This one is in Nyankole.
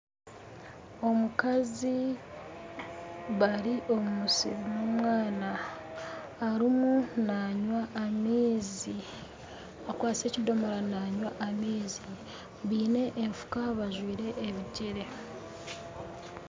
Omukazi bari omusiri nomwana, harimu nanywa amaizi, bakwatsire ekidomora nibanywa amaizi baine enfuka bajwire ebigyere